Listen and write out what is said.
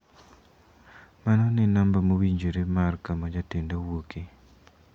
Mano ne namba mowinjore mar kama jatenda wuoke.